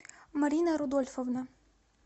марина рудольфовна